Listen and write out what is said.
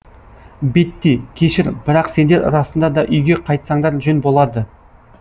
бетти кешір бірақ сендер расында да үйге қайтсаңдар жөн болады